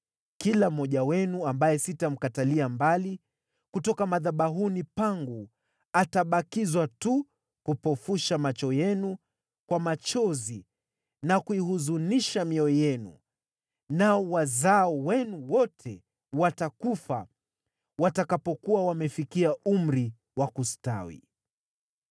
Kila mmoja wenu ambaye sitamkatilia mbali kutoka madhabahuni pangu atabakizwa tu kupofusha macho yenu kwa machozi na kuihuzunisha mioyo yenu, nao wazao wenu wote watakufa watakapokuwa wamefikia umri wa kustawi.